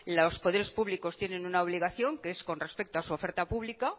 los poderes públicos tienen una obligación que es con respecto a su oferta pública